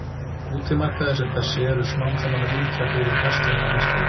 Útimarkaðir sem þessi eru smám saman að víkja fyrir verslunarmiðstöðvum.